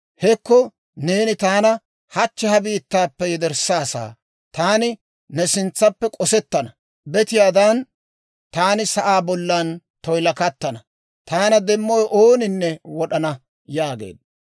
Hekko neeni taana hachche ha biittaappe yederssaassa; taani ne sintsaappe k'osettana; betiyaadan taani sa'aa bollan toyilakattana; taana demmowe ooninne wod'ana» yaageedda.